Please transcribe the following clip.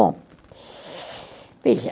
Bom veja.